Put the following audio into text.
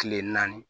Kile naani